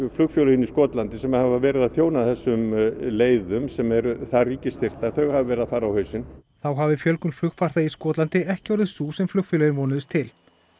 flugfélögin í Skotlandi sem hafa verið að þjóna þessum leiðum sem eru ríkisstyrktar þau hafa verið að fara á hausinn þá hafi fjölgun flugfarþega í Skotlandi ekki orðið sú sem flugfélögin vonuðust til